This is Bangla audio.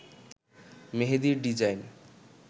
মেহেদীর ডিজাইন